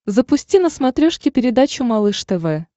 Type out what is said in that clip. запусти на смотрешке передачу малыш тв